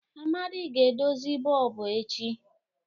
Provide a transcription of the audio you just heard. Amadi ga-edozi bọlbụ echi.